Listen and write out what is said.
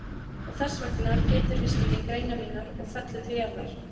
Og þessvegna Pétur hristi ég greinar mínar og hún fellur til jarðar.